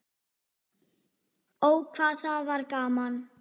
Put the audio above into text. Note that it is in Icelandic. Ó, hvað það var gaman.